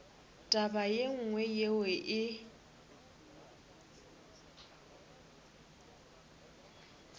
taba ye nngwe yeo e